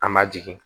An ma jigin